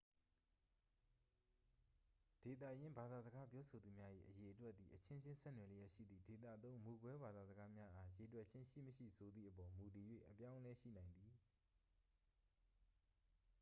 ဒေသရင်းဘာသာစကားပြောဆိုသူများ၏ အရေအတွက်သည် အချင်းချင်း ဆက်နွယ်လျက်ရှိသည့် ဒေသသုံးမူကွဲဘာသာစကားများအား ရေတွက်ခြင်းရှိမရှိဆိုသည့်အပေါ် မူတည်၍ အပြောင်းအလဲရှိနိုင်သည်